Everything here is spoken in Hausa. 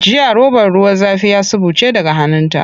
Jiya robar ruwa zafi ya suɓuce daga hannunta.